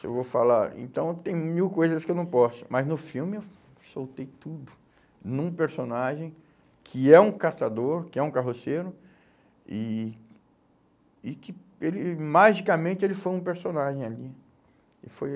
se eu vou falar, então tem mil coisas que eu não posso, mas no filme eu soltei tudo, num personagem que é um catador, que é um carroceiro, e e que ele magicamente ele foi um personagem ali. Ele foi